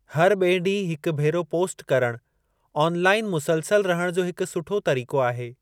हर ॿिए ॾींहुं हिकु भेरो पोस्ट करणु आन लाइअन मुसलसल रहण जो हिकु सुठो तरीक़ो आहे।